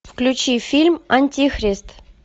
включи фильм антихрист